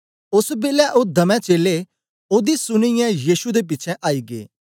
ओस बेलै ओ दमै चेलें ओदी सुनीयै यीशु दे पिछें आई गै